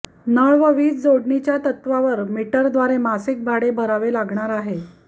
नळ व वीज जोडणीच्या तत्त्वावर मिटरद्वारे मासिक भाडे भरावे लागणार आहे